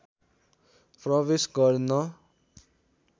प्रवेश गर्न